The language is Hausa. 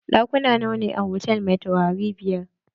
Ɗakuna nawa ne a hotal mai taurari biyar?